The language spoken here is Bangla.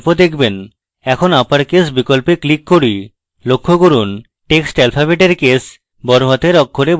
এখন uppercase বিকল্পে click করি লক্ষ্য করুন text alphabets case বড় হাতের অক্ষরে বদলে গেছে